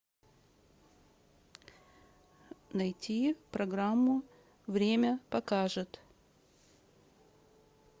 найти программу время покажет